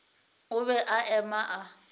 o be a eme a